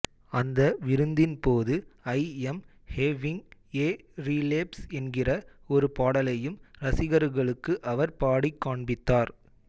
அந்த விருந்தின் போது I am having a relapse என்கிற ஒரு பாடலையும் ரசிகர்களுக்கு அவர் பாடிக் காண்பித்தார்